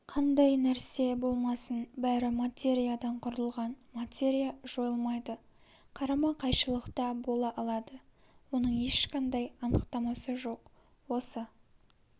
қандай нәрсе болмасын бәрі материядан құрылған материя жойылмайды қарама-кайшылықта бола алады оның ешқандай анықтамасы жоқ осы